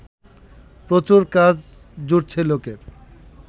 প্রচুর কাজ জুটছে লোকের